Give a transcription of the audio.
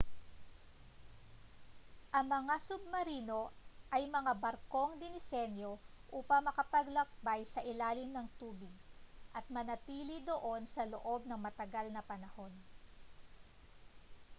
ang mga submarino ay mga barkong dinisenyo upang makapaglakbay sa ilalim ng tubig at manatili doon sa loob ng matagal na panahon